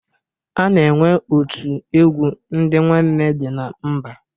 A na-enwe otu egwu ndị nwanne dị na mba.